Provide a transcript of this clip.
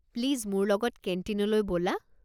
Please মোৰ লগত কেণ্টিনলৈ ব'লা।